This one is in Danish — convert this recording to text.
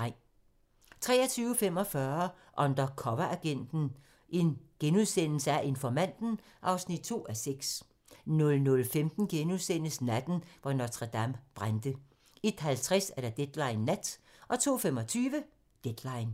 23:45: Undercoveragenten - Informanten (2:6)* 00:15: Natten, hvor Notre-Dame brændte * 01:50: Deadline Nat 02:25: Deadline